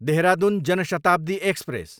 देहरादुन जान शताब्दी एक्सप्रेस